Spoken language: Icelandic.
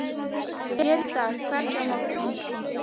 Hér í dag, hvergi á morgun?